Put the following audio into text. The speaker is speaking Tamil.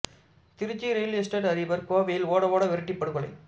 திருச்சி ரியல் எஸ்டேட் அதிபர் கோவையில் ஓட ஓட விரட்டிப் படுகொலை